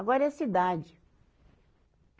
Agora é cidade.